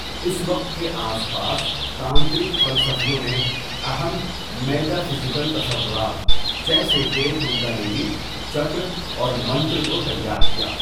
اس وقت کے آس پاس، تانترک فلسفیوں نے اہم میٹافزیکل تصورات جیسے کہ کنڈالینی، چکرا اور منتر کو تیار کیا۔